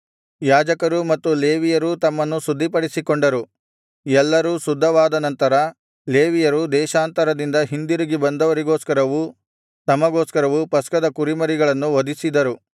ಯಾಜಕರೂ ಮತ್ತು ಲೇವಿಯರೂ ತಮ್ಮನ್ನು ಶುದ್ಧಿಪಡಿಸಿಕೊಂಡರು ಎಲ್ಲರೂ ಶುದ್ಧವಾದನಂತರ ಲೇವಿಯರು ದೇಶಾಂತರದಿಂದ ಹಿಂದಿರುಗಿ ಬಂದವರಿಗೋಸ್ಕರವೂ ತಮಗೋಸ್ಕರವೂ ಪಸ್ಕದ ಕುರಿಮರಿಗಳನ್ನು ವಧಿಸಿದರು